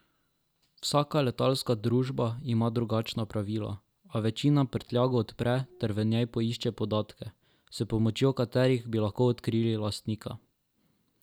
Vsaka letalska družba ima drugačna pravila, a večina prtljago odpre ter v njej išče podatke, s pomočjo katerih bi lahko odkrili lastnika.